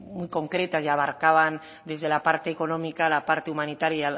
muy concretas y abarcaban desde la parte económica la parte humanitaria